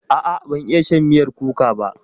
A'a ban iya shan miyar kuka ba.